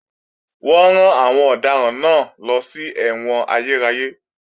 Wọ́n rán àwọn ọ̀daràn náà lọ sí ẹ̀wọ̀n ayérayé